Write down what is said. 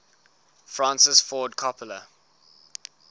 francis ford coppola